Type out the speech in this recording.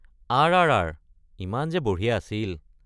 আৰ.আৰ.আৰ., ইমান যে বঢ়িয়া আছিল।